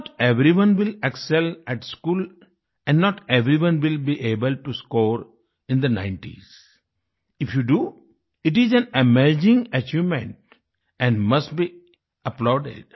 note everyone will excel at school and not everyone will be able to score in the 90s if you do it is an amazing achievement and must be applauded